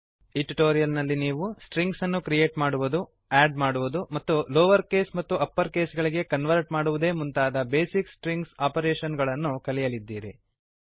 ಈ ಟ್ಯುಟೋರಿಯಲ್ ನಲ್ಲಿ ನೀವು ಸ್ಟ್ರಿಂಗ್ಸನ್ನು ಕ್ರಿಯೇಟ್ ಮಾಡುವುದು ಆಡ್ ಮಾಡುವುದು ಮತ್ತು ಲೋವರ್ ಕೇಸ್ ಮತ್ತು ಅಪ್ಪರ್ ಕೇಸ್ ಗಳಿಗೆ ಕನ್ವರ್ಟ್ ಮಾಡುವುದೇ ಮುಂತಾದ ಬೇಸಿಕ್ ಸ್ಟ್ರಿಂಗ್ ಆಪರೇಷನ್ ಗಳನ್ನು ಕಲಿಯಲಿದ್ದೀರಿ